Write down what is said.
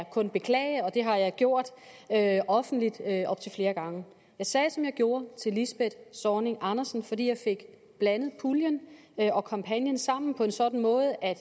kun beklage og det har jeg gjort offentligt op til flere gange jeg sagde som jeg gjorde til lisbeth zornig andersen fordi jeg fik blandet puljen og kampagnen sammen på en sådan måde at